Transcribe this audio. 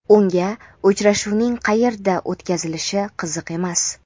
unga uchrashuvning "qayerda o‘tkazilishi" qiziq emas.